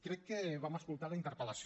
crec que vam escoltar la interpel·lació